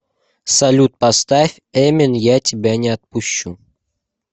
салют поставь эмин я тебя не отпущу